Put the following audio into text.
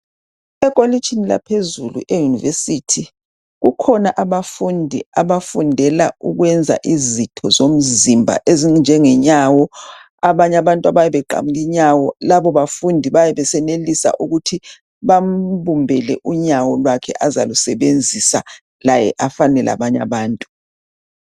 Ekolitshini laphezulu eyunivesithi kukhona abafundi abafundela ukwenza izitho zomzimba ezinjengenyawo, abanye abantu abayabe belimele inyawo labo bafundi bayabe besenelisa ukuthi bambumbele unyawo lwakhe azalusebenzisa laye afane labanye abantu.